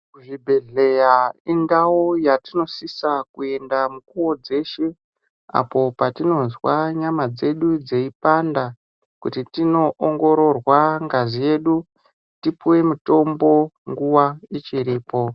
Kuzvibhehleya indau yetinosisa kuenda mukuwo dzeshe apo patinozwa nyama dzedu dzeipanda kuti tinoongororwa ngazi yedu tipuwe mutombo nguwa ichiripo.